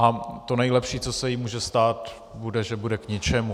A to nejlepší, co se jí může stát, bude, že bude k ničemu.